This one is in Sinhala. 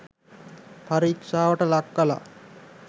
පරීක්ෂාවට ලක් කලා.